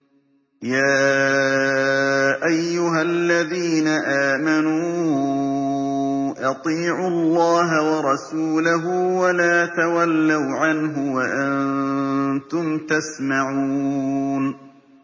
يَا أَيُّهَا الَّذِينَ آمَنُوا أَطِيعُوا اللَّهَ وَرَسُولَهُ وَلَا تَوَلَّوْا عَنْهُ وَأَنتُمْ تَسْمَعُونَ